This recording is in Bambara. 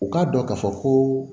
U k'a dɔn k'a fɔ koo